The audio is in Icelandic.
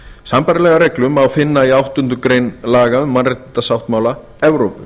sambærilega reglu má finna í áttundu grein laga um mannréttindasáttmála evrópu